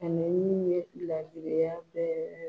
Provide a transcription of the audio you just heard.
A min ye laadiriya bɛ